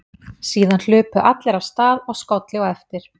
Síðan hlupu allir af stað og skolli á eftir.